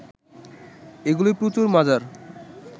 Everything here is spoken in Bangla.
এগুলি প্রচুর মজার